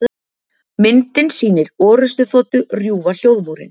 Myndin sýnir orrustuþotu rjúfa hljóðmúrinn.